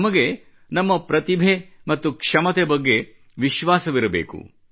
ನಮಗೆ ನಮ್ಮ ಪ್ರತಿಭೆ ಮತ್ತು ಕ್ಷಮತೆ ಬಗ್ಗೆ ನಮ್ಮಲ್ಲಿ ವಿಶ್ವಾಸವಿರಬೇಕು